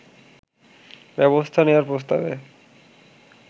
ব্যবস্থা নেয়ার প্রস্তাবে